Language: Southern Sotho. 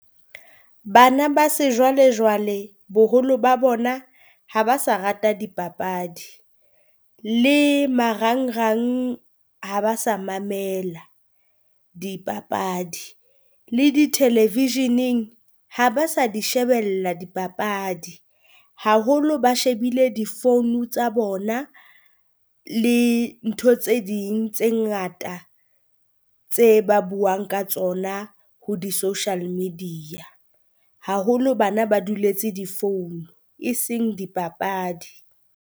Bana ba sejwalejwale boholo ba bona ha ba sa rata dipapadi le marangrang ha ba sa mamela dipapadi, le di television-eng ha ba sa di shebella dipapadi. Haholo ba shebile di founu tsa bona le ntho tse ding tse ngata tse ba buang ka tsona ho di social media. Haholo bana ba duletse difounu e seng dipapadi.